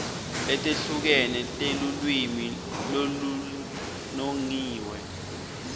letehlukene telulwimi lolunongiwe